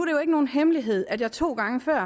jo ikke nogen hemmelighed at jeg to gange før